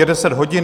Je 10 hodin.